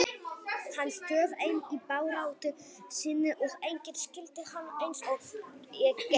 Hann stóð einn í baráttu sinni og enginn skildi hann eins og ég gerði.